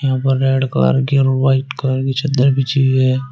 यहां पर red colour की और वाइट कलर की चद्दर बिछी हुई है।